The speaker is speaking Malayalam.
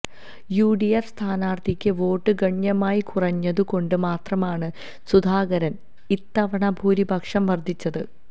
യുഡിഎഫ് സ്ഥാനാർത്ഥിക്ക് വോട്ട് ഗണ്യമായി കുറഞ്ഞതു കൊണ്ട് മാത്രമാണ് സുധാകരന് ഇത്തവണ ഭൂരിപക്ഷം വർദ്ധിച്ചത്